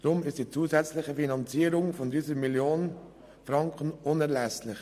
Deshalb ist die zusätzliche Finanzierung von 1 Mio. Franken unerlässlich.